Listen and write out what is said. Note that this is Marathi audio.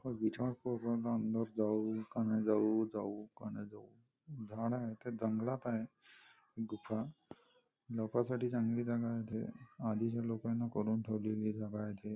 अंदर जाऊ का नाही जाऊ जाऊ की नाही जाऊ झाड आहे ते जंगलात आहे लपायसाठी चांगली जागा आहे ति आधीच्या लोकांनी कारून ठेवलेली आहे.